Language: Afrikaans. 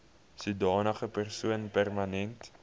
sodanige persoon permanent